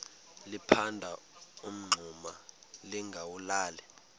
liphanda umngxuma lingawulali